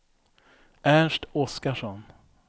Ernst Oskarsson